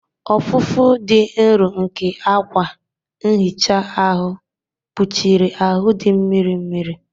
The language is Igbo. Ọfụfụ dị nro nke akwa nhicha ahụ kpuchiri ahụ dị mmiri mmiri.